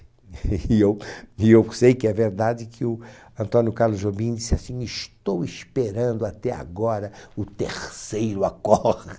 E eu e eu sei que é verdade que o Antônio Carlos Jobim disse assim, estou esperando até agora o terceiro